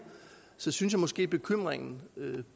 synes jeg måske at bekymringen